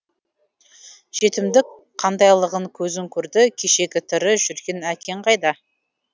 жетімдік қандайлығын көзің көрді кешегі тірі жүрген әкең қайда